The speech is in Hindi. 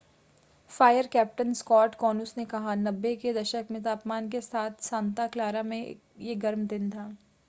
फ़ायर कैप्टन स्कॉट कोनुस ने कहा 90 के दशक में तापमान के साथ सांता क्लारा में यह एक गर्म दिन था